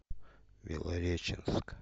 белореченск